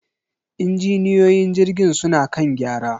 injiniyoyin jirgin suna kan gyara.